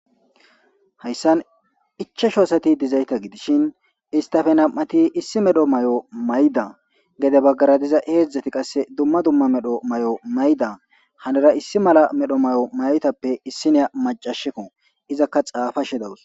Hayssan ichashoosati dizayta gidishin istape nam'ati issi medho mayo mayda gede baggara diza heedzdzati qasse dumma dumma medho mayo mayda hanera issi mala medho mayo mayoytappe issineya macasheko izakka xapa shi dawus.